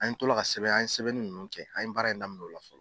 An to la ka sɛbɛn an ye sɛbɛnni ninnu kɛ an ye baara in daminɛ o la fɔlɔ.